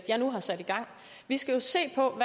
jeg nu har sat i gang vi skal jo se på